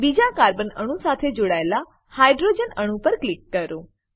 બીજા કાર્બન અણુ સાથે જોડાયેલા હાઇડ્રોજન અણુ પર ક્લિક કરો